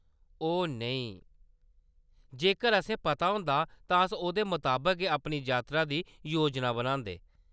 ओह्, नेईं, जेकर‌ असेंगी पता होंदा, तां अस ओह्‌‌दे मताबक गै अपनी यात्रा दी योजना बनांदे।